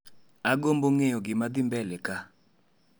Agombo ng'eyo gimadhii mbele ka